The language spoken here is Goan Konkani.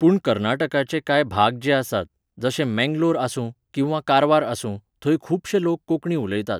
पूण कर्नाटकांचे कांय भाग जे आसात, जशे मँगलोर आसूं, किंवा कारवार आसूं, थंय खुबशे लोक कोंकणी उलयतात.